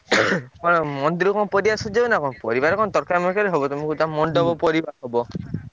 କଣ ମନ୍ଦିର କଣ ପରିବା ସଜେଇବ ନା କଣ? ପରିବାରେ କଣ ତରକାରୀ ମରକାରୀ ହବ, ତମେ କହୁଛ ମଣ୍ଡପ ପରିବା ହବ।